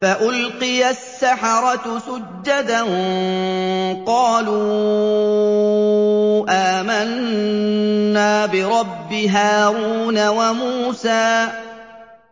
فَأُلْقِيَ السَّحَرَةُ سُجَّدًا قَالُوا آمَنَّا بِرَبِّ هَارُونَ وَمُوسَىٰ